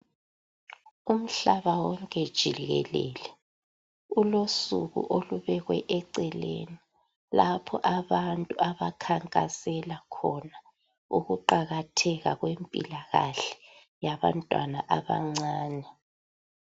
Umhlaba wonke jikelele ulosuku olubekwe eceleni lapho abantu ukukhankasela khona ukuqakatheka impilakahle yabantwana abancane.